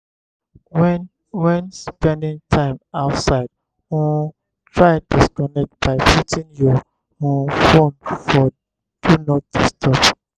when when spending time outside um try disconnect by putting your um phone for do not disturb